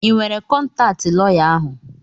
I nwere kọntaatị lọya ahụ?